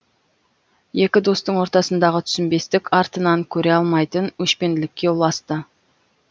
екі достың ортасындағы түсінбестік артынан көре алмайтын өшпенділікке ұласты